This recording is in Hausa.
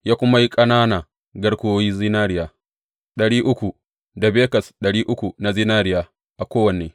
Ya kuma yi ƙanana garkuwoyi zinariya ɗari uku, da bekas ɗari uku na zinariya a kowanne.